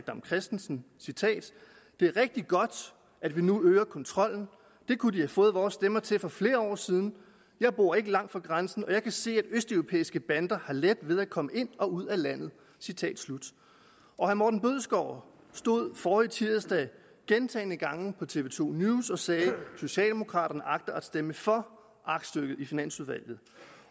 dam kristensen det er rigtigt godt at vi nu øger kontrollen det kunne de have fået vores stemmer til for flere år siden jeg bor ikke langt fra grænsen og jeg kan se at østeuropæiske bander har for let ved at komme ind og ud af landet herre morten bødskov stod forrige tirsdag gentagne gange på tv to news og sagde at socialdemokraterne agter at stemme for aktstykket i finansudvalget